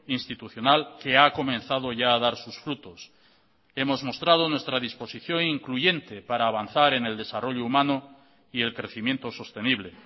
institucional que ha comenzado ya a dar sus frutos hemos mostrado nuestra disposición incluyente para avanzar en el desarrollo humano y el crecimiento sostenible